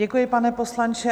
Děkuji, pane poslanče.